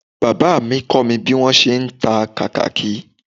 Bàbá mi kọ́ mi bí mo ṣe ń ta kàkàkí